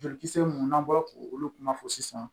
Jolikisɛ mun n'an bɔra k'olu kuma fɔ sisan